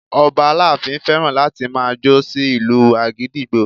Ọba aláàfin fẹ́ràn láti máa jó sí ìlu àgídìgbo